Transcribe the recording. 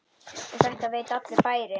Og þetta veit allur bærinn?